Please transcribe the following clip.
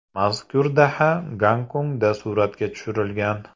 Mazkur daha Gonkongda suratga tushirilgan.